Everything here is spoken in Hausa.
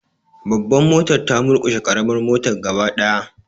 Babbar motar ta murkushe karamar motar gaba daya.